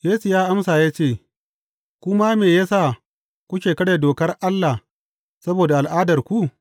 Yesu ya amsa ya ce, Ku ma me ya sa kuke karya dokar Allah saboda al’adarku?